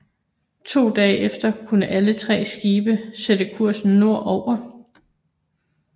To dage efter kunne alle tre skibe sætte kursen nord over